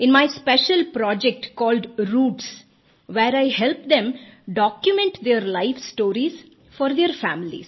in my special project called roots where I help them document their life stories for their families